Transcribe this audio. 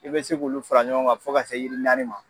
I bɛ se k'olu fara ɲɔgɔn kan fo ka se yiri naani ma.